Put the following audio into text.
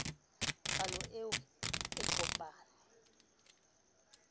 palo eo o e kopang